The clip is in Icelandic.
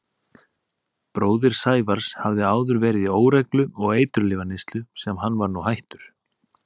Bróðir Sævars hafði áður verið í óreglu og eiturlyfjaneyslu sem hann var nú hættur.